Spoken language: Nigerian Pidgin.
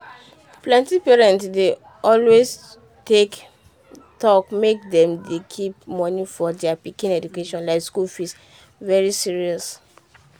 plenty parent dey always take talk make dem dey keep money for dia pikin education like school fee very serious.